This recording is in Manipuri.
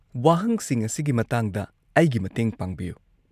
ꯋꯥꯍꯪꯁꯤꯡ ꯑꯁꯤꯒꯤ ꯃꯇꯥꯡꯗ ꯑꯩꯒꯤ ꯃꯇꯦꯡ ꯄꯥꯡꯕꯤꯌꯨ꯫